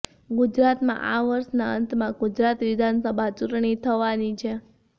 ગુજરાતમાં આ વર્ષના અંતમાં ગુજરાત વિધાનસભા ચૂંટણી થવાની છે